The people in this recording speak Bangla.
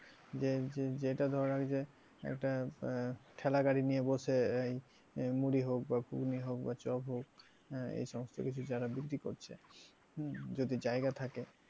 যে যেটা ধর আর যে একটা আহ ঠেলাগাড়ি নিয়ে বসে আহ মুড়ি হোক বা ঘুগনি হোক বা চপ হোক হ্যাঁ এ সমস্ত কিছু যারা বিক্রি করছে হম যদি জায়গা থাকে,